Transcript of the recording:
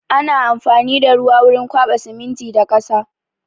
Ana amfani da ruwa wurin kwaɓa siminti da ƙasa.